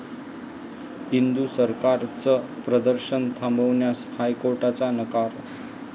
इंदु सरकार'चं प्रदर्शन थांबवण्यास हायकोर्टाचा नकार